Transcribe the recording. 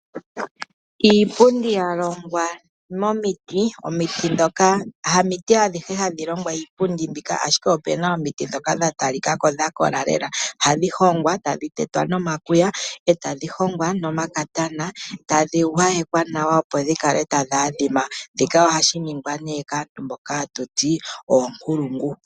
Iipundi yalongwa momiti, omiti ndhoka, hamiti adhihe hadhi longwa iipundi mbika ashike opuna omiti ndhoka dha talikako dhakola lela. Oha dhihongwa eta dhitetwa nomakwiya, eta dhihongwa nomakatana, eta dhigwayekwa nawa opodhikale tayi adhima shika ohashi ningwa nee kaantu mboka hatuti oonkulungu.